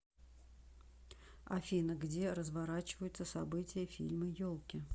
афина где разворачиваются события фильма елки